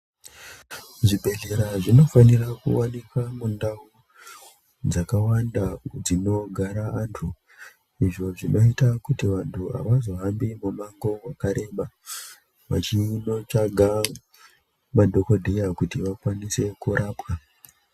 Zvibhedhlera zvinofanira kuwanikwa mundau dzakwanda dzinogara anthu izvo zvinoita kuti vanthu avazohambi mimamango wakareba vachindotsvaga madhokodheya kuti vakwanise kurapwa.